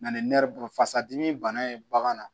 Na ni nɛri bolo fasa dimi bana ye bagan na